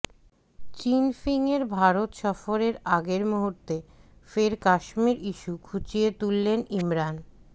চিনফিংয়ের ভারত সফরের আগের মুহূর্তে ফের কাশ্মীর ইস্যু খুঁচিয়ে তুললেন ইমরান